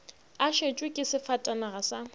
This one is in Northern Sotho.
a šetšwe ke sefatanaga sa